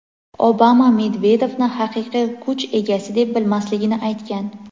Obama Medvedevni haqiqiy kuch egasi deb bilmasligini aytgan.